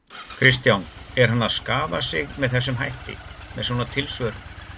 Kristján: Er hann að skaða sig með þessum hætti, með svona tilsvörum?